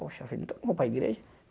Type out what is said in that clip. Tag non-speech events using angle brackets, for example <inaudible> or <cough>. Poxa, <unintelligible> vou para a igreja?